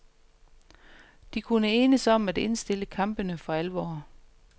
De kunne enes om at indstille kampene for alvor.